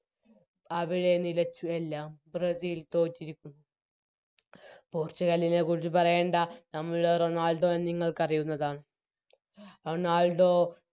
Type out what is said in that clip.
അവിടെ നിലച്ചു എല്ലാം ബ്രസീൽ തോറ്റിരിക്കുന്നു പോർച്ചുഗലിനെക്കുറിച്ച് പറയണ്ട നമ്മുടെ റൊണാൾഡോനെ നിങ്ങൾക്കറിയുന്നതാണ് റൊണാൾഡോ